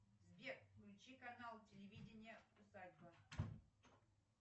сбер включи канал телевидения усадьба